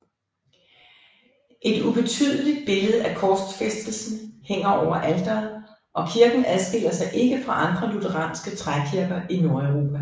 Et ubetydeligt billede af korsfæstelsen hænger over alteret og kirken adskiller sig ikke fra andre lutheranske trækirker i Nordeuropa